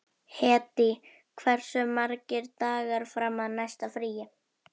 Hedí, hversu margir dagar fram að næsta fríi?